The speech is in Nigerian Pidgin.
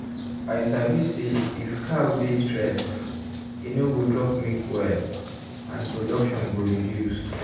i sabi say if cow dey stress e no go drop milk well and production go reduce.